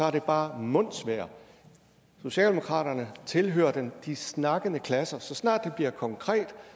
er det bare mundsvejr socialdemokratiet tilhører de snakkende klasser så snart det bliver konkret